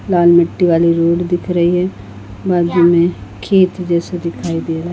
लाल मिटटी वाली रोड दिख रही है बाजू में खेत जैसे दिखाई दे रहा--